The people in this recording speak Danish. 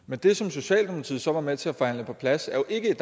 men det som socialdemokratiet så var med til at forhandle på plads